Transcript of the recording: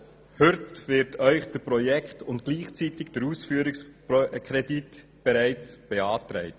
Heute werden Ihnen der Projekt- und gleichzeitig der Ausführungskredit beantragt.